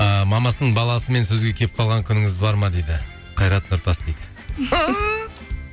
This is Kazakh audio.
ыыы мамасының баласымен сөзге келіп қалған күніңіз бар ма дейді қайрат нұртас дейді